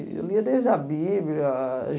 Eu lia desde a Bíblia.